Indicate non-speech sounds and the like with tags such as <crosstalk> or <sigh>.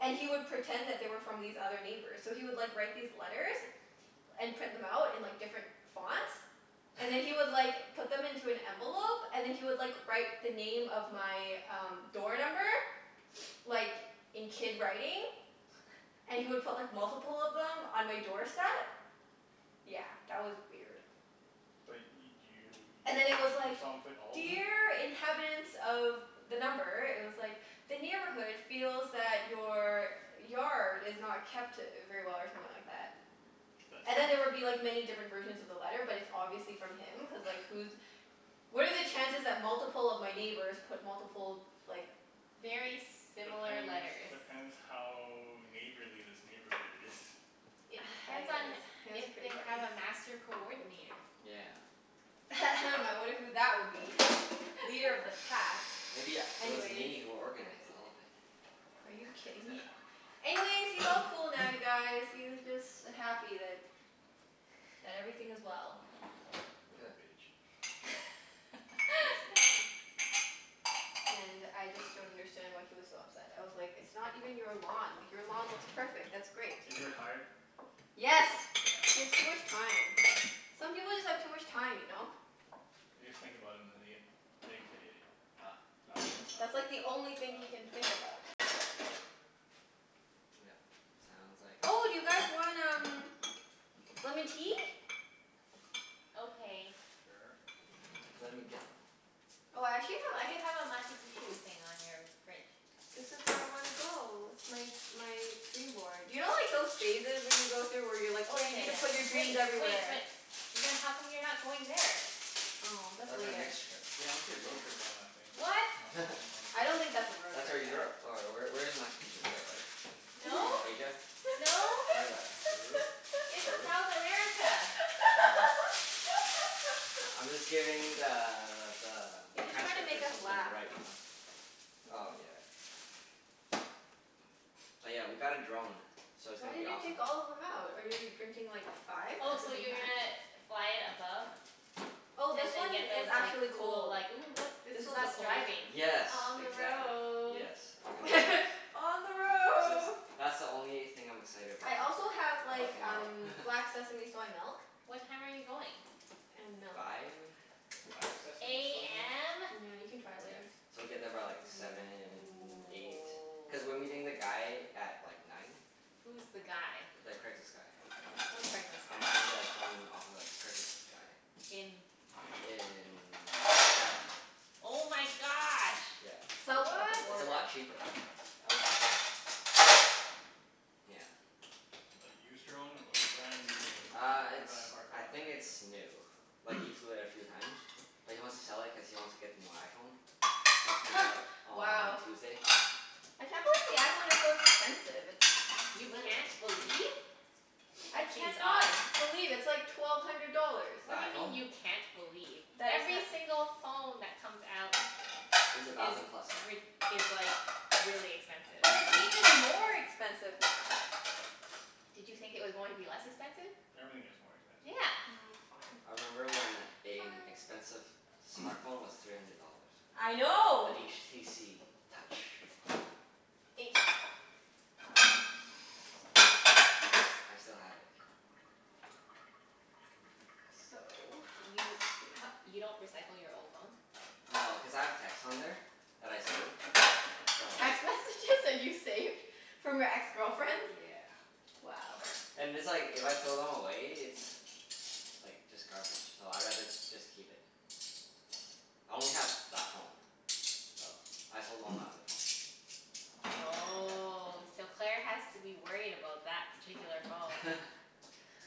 And he would pretend that they were from these other neighbors. So he would like write these letters and print them out in like different fonts. And then he would <noise> like put them into an envelope and then he would like write the name of my um door number, <noise> like in kid writing. And he would put like multiple of them on my doorstep. Yeah, that was weird. But y- And do then you, it was you saw him, like, you saw him put all of them? "Dear inhabitants of" the number, it was like, "The neighborhood feels that your yard is not kept very well" or something like that. That's And then there would be nice. like many different versions of the letter but it's obviously from him, cuz like who's, what are the chances that multiple of my neighbors put multiple like Very similar Depends, letters. depends how neighborly this neighborhood is. It <noise> depends on Anyways, it was if pretty they funny. have a master coordinator. Yeah. <noise> I wonder who that would be? Leader of the pack. Maybe u- it was Anyways. me who organized all of it. Are you kidding me? Anyways, he's all cool now you <noise> guys. He's just happy that, that everything is well. Huh. Little bitch. Basically. <laughs> And I just don't understand why he was so upset. I was like, it's not even your lawn. Like your lawn looks perfect. That's great. Is he retired? Yeah, Yes. He has too okay. much time. Some people just have too much time, you know? They just think about it and then they get fixated. Ah ah ah ah That's like the only thing he can think ah. about <inaudible> Yep. Sounds like. Oh, do you guys want um lemon tea? Okay. Sure. Let me get them. Oh, I actually have Why do you have a <inaudible> Machu Picchu thing on your fridge? This is where I wanna go. It's my my dream board. You know like those phases when you go through, where you're like Oh oh yeah you need to put your yeah dreams yeah. Wait wait, everywhere? but then how come you're not going there? Oh that's That's our later. next trip. Yeah <inaudible> road trip on that thing. What? On on I <laughs> don't think that's a the <inaudible> road That's where trip, yeah. Europe or where where is Machu Picchu? Europe, right? No, No. Asia? No. Where is that? Peru? It's Peru? South America. Oh. I'm just <laughs> giving the the He's just trying to make transcriptor us something to laugh. write, you know? That's Oh all. yeah. Oh yeah, we got a drone, so it's Why gonna be did you awesome. take all of them out? Are you drinking like five Oh at the so same you're time? gonna fly it above? Oh, this And then one get is those like actually cool cold. like, "Ooh look, this This is one's the us coldest driving." one. Yes, On the exactly. road. Yes. We're gonna <laughs> On the <inaudible> That's road. that's the only thing I'm excited about I so also have far, like about tomorrow. um <laughs> black sesame soy milk. What time are you going? And milk. Five. Black sesame soy milk? AM? Yeah, you can try it Yeah. later. So we get there by like seven, eight. Cuz we're meeting the guy <noise> at like nine. Who's the guy? The Craigslist guy. What Craigslist guy? I'm buying the drone off of a Craigslist guy. In In Seattle. Oh my gosh. Yeah, South of the it's What? a border. lot cheaper. Okay. Yeah. A used drone or a brand new Uh from a it's, guy in a parking I lot think kind it's new. of Like he deal? <noise> flew it a few times. But he wants to sell it cuz he wants to get the new iPhone. That's coming out <noise> on Wow. Tuesday. I can't believe the iPhone is so expensive. It's You literal. can't believe? I That seems can not odd. believe. It's like twelve hundred dollars. The What do you mean iPhone? you can't believe? Every single phone that comes out Is a is thousand plus now. rid- is like really expensive. But it's even more expensive now. Did you think it was going to be less expensive? Everything gets more expensive. Yeah. Oh I fine. remember when a Fine. expensive smart phone was three hundred dollars. I know. The HTC Touch. H? I s- I still have it. <noise> So, let's You see. h- you don't recycle your old phones? No, cuz I have texts on there that I save, so. Text messages that you saved from your ex-girlfriends? Yeah. Wow. And it's like, if I throw them away it's like just garbage, so I'd rather just keep it. I only have that phone. So, I sold all my other <noise> phones. Oh, so Claire has to <inaudible> that particular phone. Yeah. <laughs>